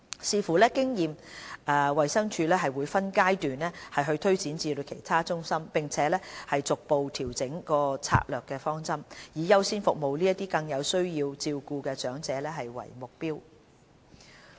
視乎所得經驗，衞生署會分階段推展服務至其他中心，並逐步調整策略方針，以優先服務這些更有需要照顧的長者為目標。